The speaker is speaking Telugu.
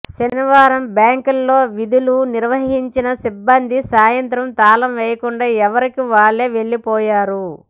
శనివారం బ్యాంకులో విధులు నిర్వహించిన సిబ్బంది సాయంత్రం తాళం వేయకుండా ఎవరికి వాళ్లు వెళ్లిపోయారు